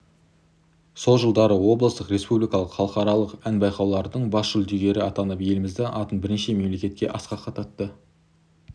сол жылдары облыстық республикалық халықаралық ән байқаулардың бас жүлдегері атанып еліміздің атын бірнеше мемлекетте асқақтатты